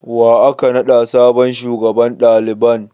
Wa aka naɗa sabon shugaban daliban?